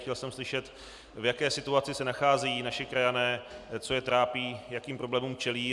Chtěl jsem slyšet, v jaké situaci se nacházejí naši krajané, co je trápí, jakým problémům čelí.